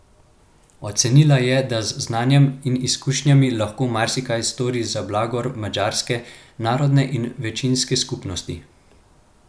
Ocenila je, da z znanjem in izkušnjami lahko marsikaj stori za blagor madžarske narodne in večinske skupnosti.